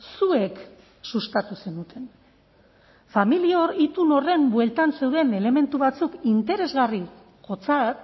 zuek sustatu zenuten familia hor itun horren bueltan zeuden elementu batzuk interesgarri jotzat